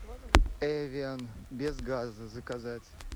эвиан без газа заказать